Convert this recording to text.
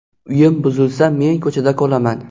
Uyim buzilsa men ko‘chada qolaman.